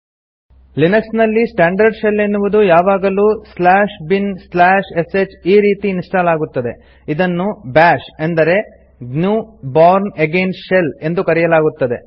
Linux ನಲ್ಲಿ standard shell ಎನ್ನುವುದು ಯಾವಾಗಲೂ binsh ಈ ರೀತಿ ಇನ್ಸ್ಟಾಲ್ ಆಗುತ್ತದೆ ಇದನ್ನು ಬಾಶ್ ಅಂದರೆ ಜಿಎನ್ಯು bourne ಅಗೈನ್ ಶೆಲ್ ಎಂದು ಕರೆಯಲಾಗುತ್ತದೆ